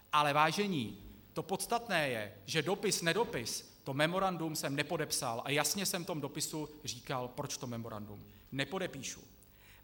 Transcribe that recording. Ale vážení, to podstatné je, že dopis nedopis, to memorandum jsem nepodepsal a jasně jsem v tom dopise říkal, proč to memorandum nepodepíšu.